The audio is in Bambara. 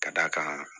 Ka d'a kan